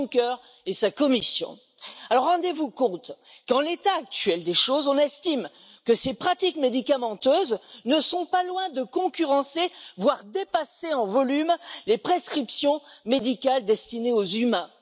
Juncker et sa Commission. Rendez vous compte qu'en l'état actuel des choses, on estime que ces pratiques médicamenteuses ne sont pas loin de concurrencer, voire dépasser en volume, les prescriptions médicales destinées aux êtres humains.